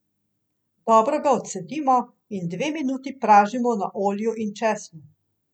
Dobro ga odcedimo in dve minuti pražimo na olju in česnu.